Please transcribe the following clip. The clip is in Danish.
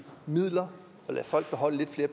midler og lade folk beholde lidt flere